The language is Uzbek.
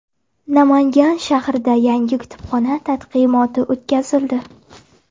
Namangan shahrida yangi kutubxona taqdimoti o‘tkazildi.